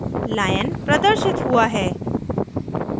lion प्रदर्शित हुआ है